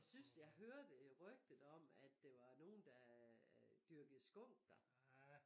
Jeg synes jeg hørte rygtet om at det var nogen der dyrkede skunk der